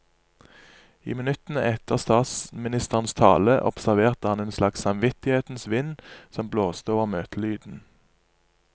I minuttene etter statsministerens tale observerte han en slags samvittighetens vind som blåste over møtelyden.